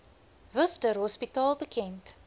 worcester hospitaal bekend